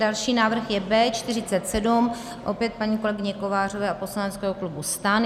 Další návrh je B47, opět paní kolegyně Kovářové a poslaneckého klubu STAN.